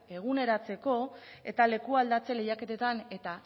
eguneratzeko eta leku aldatze lehiaketetan eta